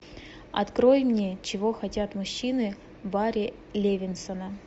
открой мне чего хотят мужчины бари левинсона